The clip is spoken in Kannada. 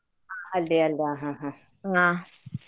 ಹಾ ಅಲ್ಲಿಯಲ್ಲ ಹಾ ಹಾ ಹಾ.